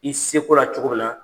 I seko la cogo minna